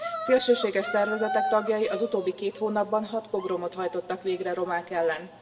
Szélsőséges szervezetek tagjai az utóbbi két hónapban 6 pogromot hajtottak végre romák ellen.